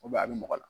a bɛ mɔgɔ la